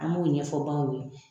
An b'o ɲɛfɔ baw ye.